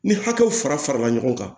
Ni hakɛw fara farala ɲɔgɔn kan